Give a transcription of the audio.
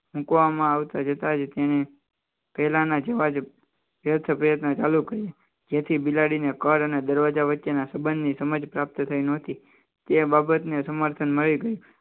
મૂકવામાં આવતા જતા જ તેને પહેલાના જોવા ચાલુ કરીએ જેથી બિલાડીને કર અને દરવાજા વચ્ચેના સંબંધની સમજ પ્રાપ્ત થઈ નહોતી તે બાબતને સમર્થન મળી ગઈ